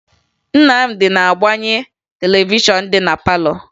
Nnamdị na-agbaghe televishọn dị na palọ